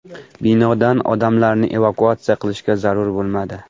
Binodan odamlarni evakuatsiya qilishga zarurat bo‘lmadi.